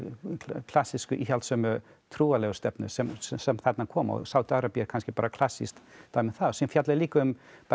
klassísku íhaldssömu trúarlegu stefnu sem sem sem þarna kom Sádi Arabía er kannski bara klassískt dæmi um það síðan fjalla ég líka um